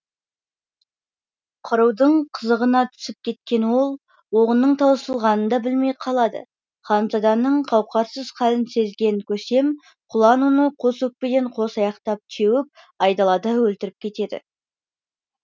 қырудың қызығына түсіп кеткен ол оғының таусылғанын да білмей қалады ханзаданың қауқарсыз халін сезген көсем құлан оны қос өкпеден қос аяқтап теуіп айдалада өлтіріп кетеді